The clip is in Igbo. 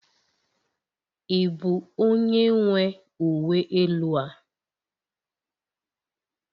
Ị bụ onye nwe uwe elu a?